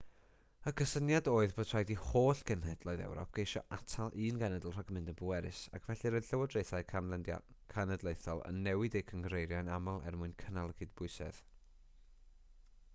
y cysyniad oedd bod rhaid i holl genhedloedd ewrop geisio atal un genedl rhag mynd yn bwerus ac felly roedd lywodraethau cenedlaethol yn newid eu cynghreiriau'n aml er mwyn cynnal y cydbwysedd